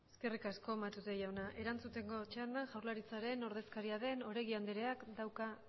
eskerrik asko matute jauna erantzuteko txandan jaurlaritzaren ordezkaria den oregi andreak dauka